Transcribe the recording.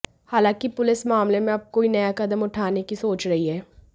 हालांकि पुलिस मामले में अब कोई नया कदम उठाने की सोच रही है